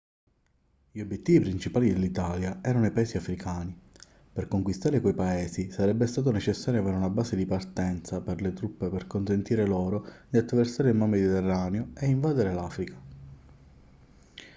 gli obiettivi principali dell'italia erano i paesi africani per conquistare quei paesi sarebbe stato necessario avere una base di partenza per le truppe per consentire loro di attraversare il mar mediterraneo e invadere l'africa